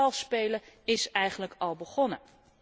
Het vals spelen is eigenlijk al begonnen.